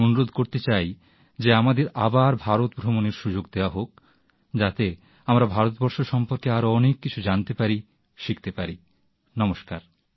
আমি অনুরোধ করতে চাই যে আমাদের আবার ভারত ভ্রমণের সুযোগ দেওয়া হোক যাতে আমরা ভারতবর্ষ সম্পর্কে আরো অনেক কিছু জানতে পারি শিখতে পারি নমস্কার